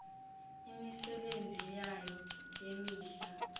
imisebenzi yayo yemihla